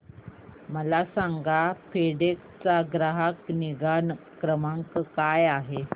मला सांगा फेडेक्स चा ग्राहक निगा क्रमांक काय आहे